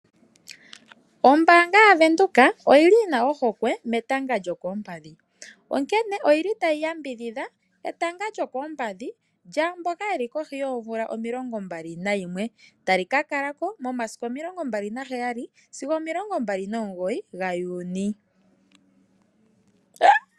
Ombaanga yaVenduka oyili yina ohokwe metanga lyokoompadhi. Onkene oyili tayi yambidhidha etanga lyokoompadhi lyaamboka yeli kohi yoomvula omilongo mbali nayimwe. Tali ka kala ko momasiku omilongo mbali naheyali sigo omilongo mbali nomugoyi gaJuni.